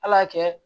Ala kɛ